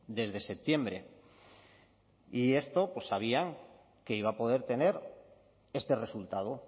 desde septiembre y esto pues sabían que iba a poder tener este resultado